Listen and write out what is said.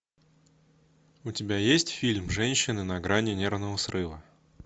у тебя есть фильм женщина на грани нервного срыва